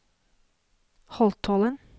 Holtålen